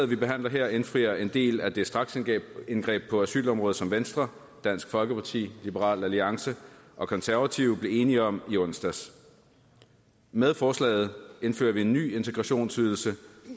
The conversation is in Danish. vi behandler her indfrier en del af det straksindgreb på asylområdet som venstre dansk folkeparti liberal alliance og konservative blev enige om i onsdags med forslaget indfører vi en ny integrationsydelse